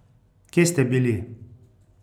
Kje ste bili?